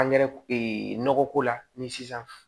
nɔgɔ ko la ni sisan